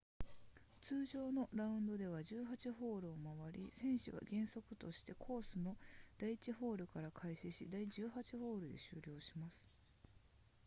通常のラウンドでは18ホールを回り選手は原則としてコースの第1ホールから開始し第18ホールで終了します